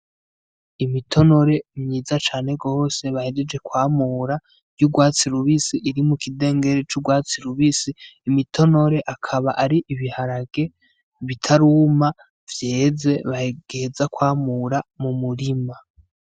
Imitonore myiza cane gose bahejeje kwamura ry'urwatsi rubisi iri mu k'idengere c'urwatsi rubisi, imitonore akaba ari ibiharage bitaruma vyeze bagiheza kwamura mu murima